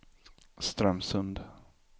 Strömsund